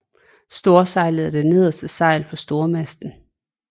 Storsejlet er det nederste sejl på stormasten